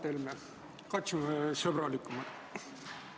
Hea Mart Helme, katsume sõbralikumalt!